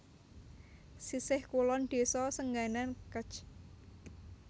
Sisih kulon Desa Senganan Kec